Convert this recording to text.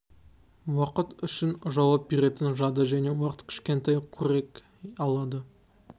уақыт үшін жауап беретін жады және уақыт кішкентай қорек алады